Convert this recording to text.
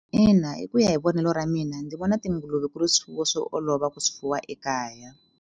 Ina, hi ku ya hi vonelo ra mina ndzi vona tinguluve ku ri swifuwo swo olova ku swifuwa ekaya.